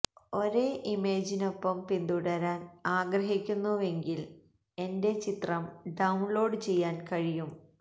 ഒരേ ഇമേജിനൊപ്പം പിന്തുടരാൻ ആഗ്രഹിക്കുന്നുവെങ്കിൽ എന്റെ ചിത്രം ഡൌൺലോഡ് ചെയ്യാൻ കഴിയും